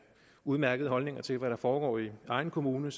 udmærkede holdninger til hvad der foregår i egen kommune